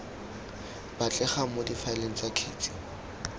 batlegang mo difaeleng tsa kgetsi